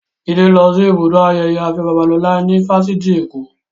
Jide lọ sí ibùdó ayẹyẹ Afe Babalola ní Fáṣitì Èkó